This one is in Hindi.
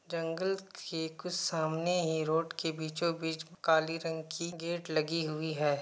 जंगल के कुछ सामने ही रोड के बीचो बीच काली रंग की गेट लगी हुई है।